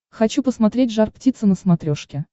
хочу посмотреть жар птица на смотрешке